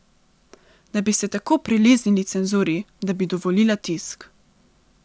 Da bi se tako priliznili cenzuri, da bi dovolila tisk.